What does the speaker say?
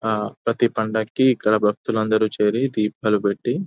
ఆ ప్రతి పండక్కి ఇక్కడ భక్తులందరూ చేరి దీపాలు పెట్టి --